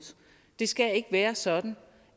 det skal ikke være sådan